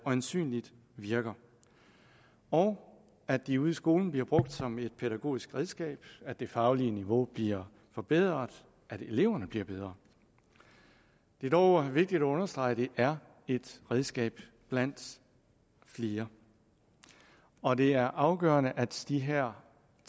øjensynligt virker og at de ude i skolen bliver brugt som et pædagogisk redskab at det faglige niveau bliver forbedret at eleverne bliver bedre det er dog vigtigt at understrege at det er et redskab blandt flere og det er afgørende at de her